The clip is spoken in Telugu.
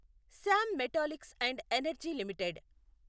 Shyam Metalics and Energy limited